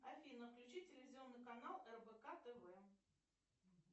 афина включи телевизионный канал рбк тв